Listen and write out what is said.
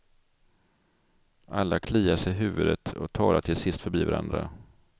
Alla kliar sig i huvudet och talar till sist förbi varandra.